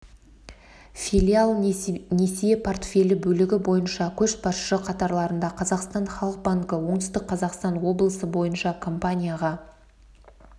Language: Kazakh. филиал несие портфелі бөлігі бойынша көшбасшы қатарларында қазақстан халық банкі оңтүстік қазақстан облысы бойынша компанияға